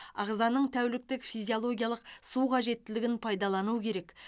ағзаның тәуліктік физиологиялық су қажеттілігін пайдалану керек